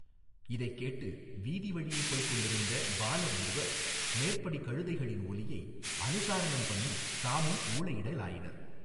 இதைக் கேட்டு வீதி வழியே போய்க் கொண்டிருந்த பாலர் இருவர் மேற்படி கழுதைகளின் ஒலியை அனுசாரணம் பண்ணித் தாமும் ஊளை யிடலாயினர்.